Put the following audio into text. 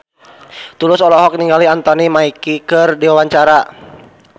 Tulus olohok ningali Anthony Mackie keur diwawancara